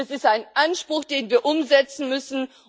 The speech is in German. Es ist ein Anspruch, den wir umsetzen müssen.